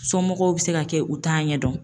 Somɔgɔw bi se ka kɛ u t'a ɲɛdɔn